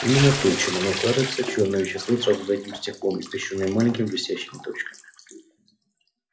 именно то чем оно кажется чёрное вещество сразу за этим стеклом испещрённое маленькими блестящими точками